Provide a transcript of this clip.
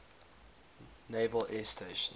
naval air station